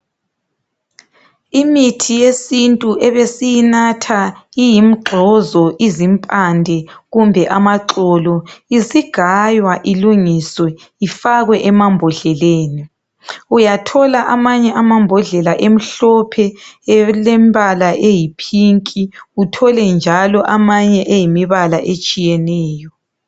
Imithi yesintu ebesinatha iyimgxozo izimpande kumbe amaxolo isigaywa ilungiswe ifakwe emabhodleleni uyathola amanye amabhodlela emhlophe elempala eyipink uthole amanye eyimibala etshiyiyeneyo.